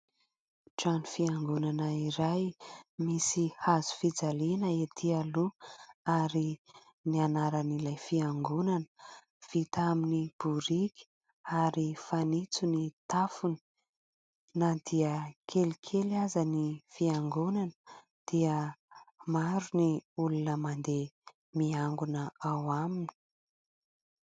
Trano fiangonana iray misy hazofijaliana etỳ aloha ary ny anaran'ilay fiangonana, vita amin'ny boriky ary fanitso ny tafony na dia kelikely aza ny fiangonana dia maro ny olona mandeha miangona ao aminy.